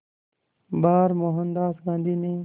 बार मोहनदास गांधी ने